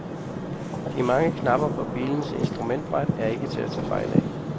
De mange knapper på bilens instrumentbræt er ikke til at tage fejl af.